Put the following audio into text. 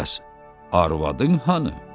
Bəs arvadın hanı?